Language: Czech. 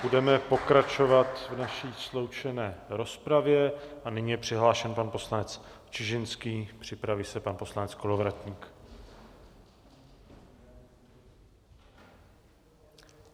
Budeme pokračovat v naší sloučené rozpravě a nyní je přihlášen pan poslanec Čižinský, připraví se pan poslanec Kolovratník.